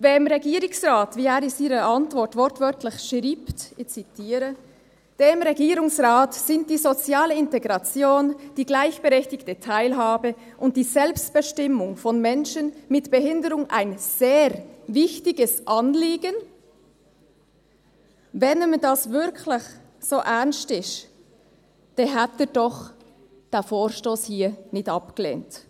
Wenn dem Regierungsrat, wie er in seiner Antwort wortwörtlich schreibt, und ich zitiere, «Dem Regierungsrat sind die soziale Integration, die gleichberechtigte Teilhabe und die Selbstbestimmung von Menschen mit Behinderung ein sehr wichtiges Anliegen», wenn ihm das wirklich so ernst ist, dann hätte er doch diesen Vorstoss hier nicht abgelehnt.